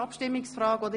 Entschuldigen Sie!